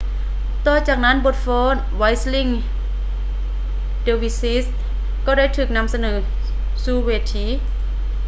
ຕໍ່ຈາກນັ້ນບົດຟ້ອນ whirling dervishes ກໍໄດ້ຖືກນໍາສະເໜີສູ່ເວທີ